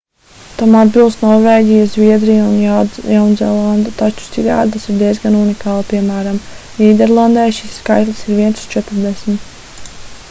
tam atbilst norvēģija zviedrija un jaunzēlande taču citādi tas ir diezgan unikāli piem. nīderlandē šis skaitlis ir viens uz četrdesmit